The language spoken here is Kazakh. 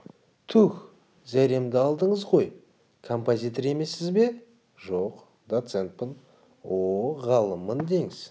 туһ зәремді алдыңыз ғой композитор емессіз бе жоқ доцентпін о-о ғалыммын деңіз